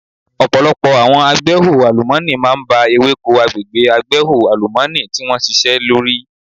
Ọ̀pọ̀lọpọ̀ àwọn agbẹ́hò àlùmọ́nì máa ń ba ewéko agbègbè agbẹ́hò àlùmọ́ọ́nì tí wón ṣisẹ́ lórí.